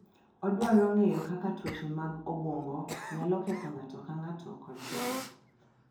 Odwaro ng’eyo kaka tuoche mag obwongo nyalo ketho ng’ato ka ng’ato kod joot.